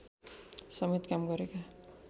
समेत काम गरेका